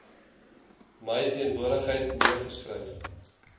my teenwoordigheid neergeskryf